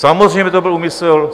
Samozřejmě že to byl úmysl.